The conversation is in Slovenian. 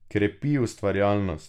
Krepi ustvarjalnost.